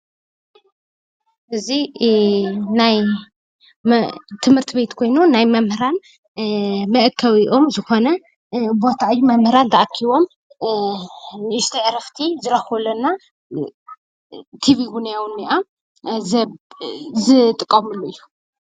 እዚ ናይ ትምህርት ቤት ኮይኑ ናይ መምህራን መአከቢኦም ዝኾነ ቦታ እዩ። መምህራን ተኣኪቦም ንእሽተይ ዕረፍቲ ዝረኽብሉ እና ቲቪ ዉነይ ኣብኡ እኒኣ ዝጥቀሙሉ እዩ ።